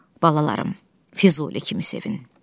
Balalarım, Füzuli kimi sevin.